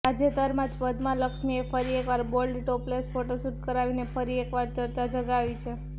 તાજેતરમાં જ પદ્મા લક્ષ્મીએ ફરી એકવાર બોલ્ડ ટોપલેસ ફોટોશુટ કરાવીને ફરી એકવાર ચર્ચા જગાવી છે